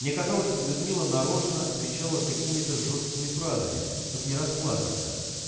мне казалось людмила нарочно отвечала какими-то жёсткими фразами чтоб не расплакаться